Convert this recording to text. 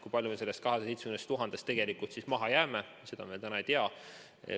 Kui palju me sellest 270 000-st tegelikult maha jääme, seda me täna veel ei tea.